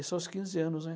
Isso aos quinze anos, né?